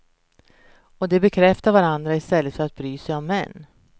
Och de bekräftar varandra i stället för att bry sig om män.